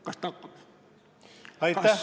Kas ta hakkab?